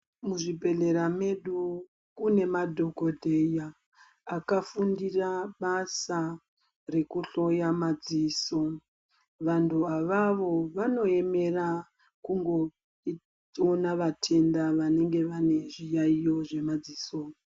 Muzvibhedhlera medu kune madhokoteya akafundira basa eekuhloya madziso . Vantu avavo vanoemera kungoona vatenda vanenge vane zviyaiyo zvemadziso .